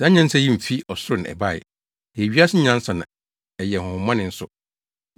Saa nyansa yi mfi ɔsoro na ɛbae. Ɛyɛ wiase nyansa na ɛyɛ honhommɔne nso.